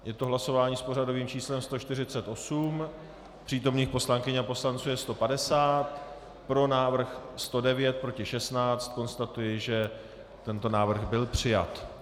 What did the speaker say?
Je to hlasování s pořadovým číslem 148, přítomných poslankyň a poslanců je 150, pro návrh 109, proti 16, konstatuji, že tento návrh byl přijat.